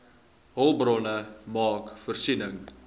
hulpbronne maak voorsiening